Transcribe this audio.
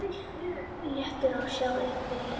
Léttur á sér og upprifinn.